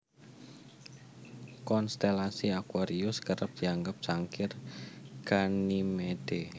Konstelasi aquarius kerep dianggep cangkir Ganymede